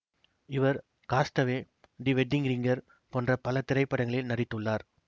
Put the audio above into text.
இவர் cast away the wedding ringer போன்ற பல திரைப்படங்களில் நடித்துள்ளார்